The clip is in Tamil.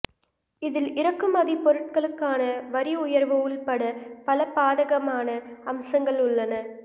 இதில் இறக்குமதி பொருட்களுக்கான வரி உயர்வு உள்பட பல பாதகமான அம்சங்கள் உள்ளன